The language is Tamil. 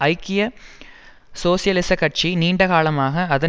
ஐக்கிய சோசியலிச கட்சி நீண்டகாலமாக அதன்